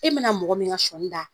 E ma na mɔgɔ min ka sɔni da.